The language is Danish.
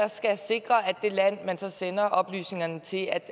det land man så sender oplysningerne til